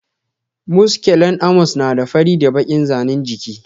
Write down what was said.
Muskulen Amos na da fari da bakin zanin jiki.